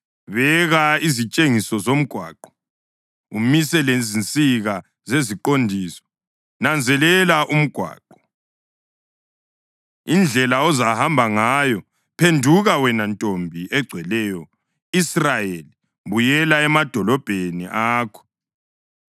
Beka izitshengiso zomgwaqo; umise lezinsika zeziqondiso. Nanzelela umgwaqo, indlela ozahamba ngayo. Phenduka, wena Ntombi egcweleyo Israyeli, buyela emadolobheni akho.